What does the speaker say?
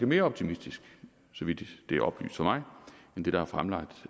mere optimistisk så vidt det er oplyst for mig end det der er fremlagt